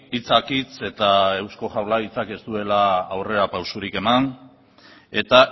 hitzak hitz eta eusko jaurlaritzak ez duela aurrera pausurik eman eta